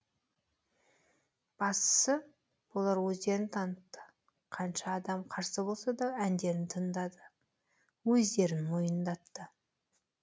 бастысы олар өздерін танытты қанша адам қарсы болсада әндерін тыңдады өздерін мойындатты